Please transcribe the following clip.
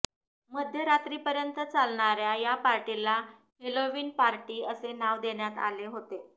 मध्यरात्रीपर्यंत चालणार्या या पार्टीला हेलोवीन पार्टी असे नाव देण्यात आले होते